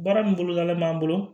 Baara min bolodalen b'an bolo